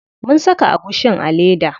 Mun saka agushin a leda.